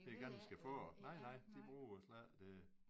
Det er ganske få nej nej de bruger slet ikke